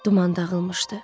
Duman dağılmışdı.